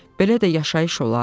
Belə də yaşayış olar?